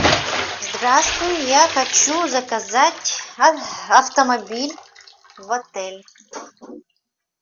здравствуй я хочу заказать автомобиль в отель